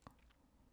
DR K